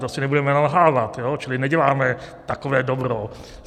To si nebudeme nalhávat, čili neděláme takové dobro.